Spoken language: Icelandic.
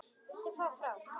Viltu fara frá!